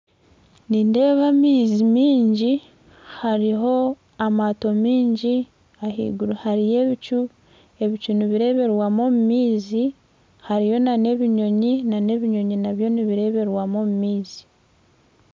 Nindeeba amaizi mingi haruho amato mingi ah'iguru hariyo ebicu, ebicu nibireberwamu omu maizi hariyo n'ebinyonyi nabyo nibireberwamu omu maizi.